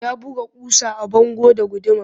Ya buga ƙusa a bango da guduma